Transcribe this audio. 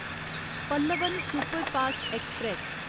Pallavan superfast express